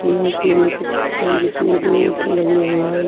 यह एक मेले का चित्र है जिसमें दो ऑटो लग हुए हैं।